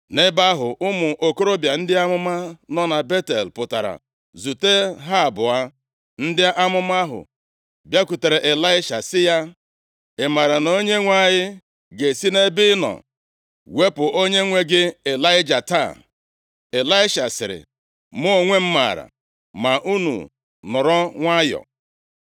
Nʼebe ahụ, ụmụ okorobịa ndị amụma nọ na Betel pụtara zute ha abụọ. Ndị amụma ahụ bịakwutere Ịlaisha sị ya, “Ị maara na Onyenwe anyị ga-esi nʼebe ị nọ wepụ onyenwe gị Ịlaịja taa?” Ịlaisha sịrị, “Mụ onwe m maara, ma unu nọrọ nwayọọ.”